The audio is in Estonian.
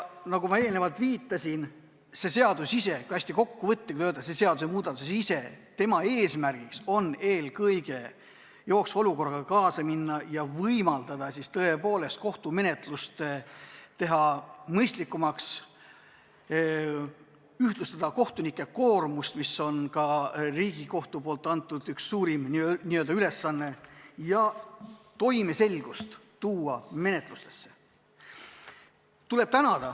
Nagu ma viitasin, kui hästi kokkuvõtlikult öelda, siis selle eelnõu eesmärk on eelkõige jooksva olukorraga kaasa minna ja võimaldada kohtumenetlust mõistlikumaks teha, ühtlustada kohtunike koormust – see on Riigikohtu antud suurim ülesanne – ja menetlusse toimeselgust tuua.